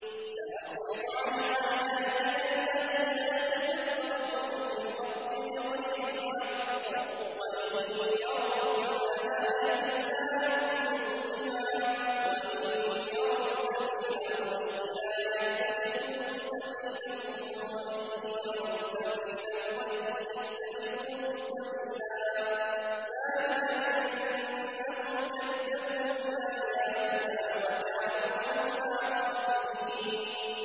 سَأَصْرِفُ عَنْ آيَاتِيَ الَّذِينَ يَتَكَبَّرُونَ فِي الْأَرْضِ بِغَيْرِ الْحَقِّ وَإِن يَرَوْا كُلَّ آيَةٍ لَّا يُؤْمِنُوا بِهَا وَإِن يَرَوْا سَبِيلَ الرُّشْدِ لَا يَتَّخِذُوهُ سَبِيلًا وَإِن يَرَوْا سَبِيلَ الْغَيِّ يَتَّخِذُوهُ سَبِيلًا ۚ ذَٰلِكَ بِأَنَّهُمْ كَذَّبُوا بِآيَاتِنَا وَكَانُوا عَنْهَا غَافِلِينَ